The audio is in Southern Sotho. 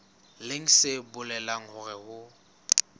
leng se bolelang hore ho